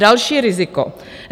Další riziko.